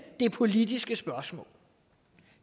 det politiske spørgsmål